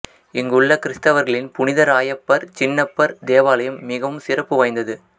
இங்கு உள்ள கிறித்தவர்களின் புனித இராயப்பர் சின்னப்பர் தேவாலயம் மிகவும் சிறப்பு வாய்ந்தது